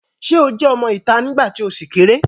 Sé o jẹ́ ọmọ ìta nígbà tí o ṣì kéré?